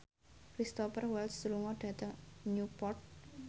Cristhoper Waltz lunga dhateng Newport